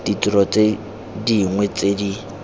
ditiro tse dingwe tse di